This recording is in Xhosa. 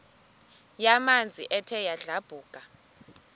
yamanzi ethe yadlabhuka